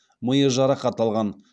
миы жарақат алған